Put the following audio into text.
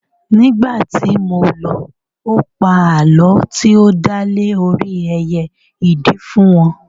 Nígbàtí mo lọ, ó pa àlọ́ tí ó dá lé orí ẹyẹ ìdì fún wọn